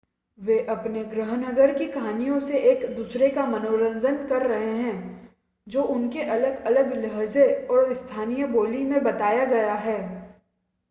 वे अपने गृहनगर की कहानियों से एक-दूसरे का मनोरंजन कर रहे हैं जो उनके अलग-अलग लहजे और स्थानीय बोली में बताया गया है